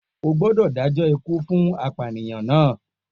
O gbódò dájọ́ ikú fún apànìyàn náà!